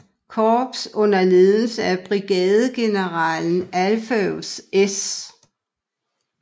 Korps under ledelse af brigadegeneral Alpheus S